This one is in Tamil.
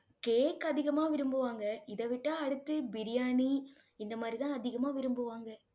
cake அதிகமா விரும்புவாங்க. இதை விட்டா அடுத்து biryani இந்த மாதிரிதான் அதிகமா விரும்புவாங்க